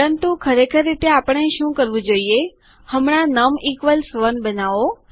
પરંતુ ખરેખર રીતે આપણે શું કરવું જોઈએ હમણાં નમ 1 બનાવો